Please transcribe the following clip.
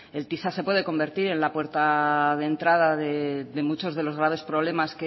el tisa se puede convertir en la puerta de entrada de muchos de los graves problemas